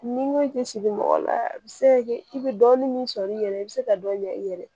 Ni ŋo i ti sigi mɔgɔ la a bi se ka kɛ i be dɔɔnin min sɔrɔ i yɛrɛ ye i bɛ se ka dɔ ɲɛ i yɛrɛ ye